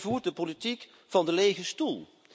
Zij voert de politiek van de lege stoel.